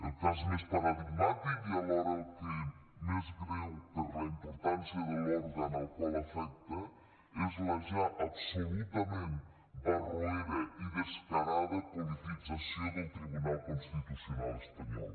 el cas més paradigmàtic i alhora el més greu per la importància de l’òrgan al qual afecta és la ja absolutament barroera i descarada politització del tribunal constitucional espanyol